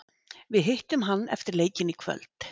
Við hittum hann eftir leikinn í kvöld.